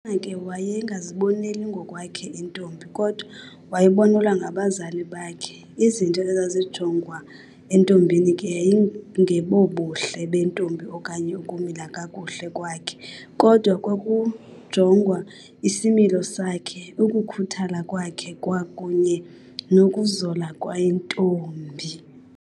na ke wayengaziboneli ngokwakhe intombi kodwa wayebonelwa ngabazali bakhe, izinto ezazijongwa entombini ke yayingebobuhle bentombi okanye ukumila kakhuhle kwakhe kodwa kwakujongwa isimilo sakhe, ukukhuthala kwakhe kwakunye nokuzola kwentombi.